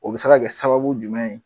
O bi se ka kɛ sababu jumɛn ye